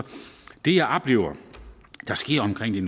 det jeg oplever der sker omkring det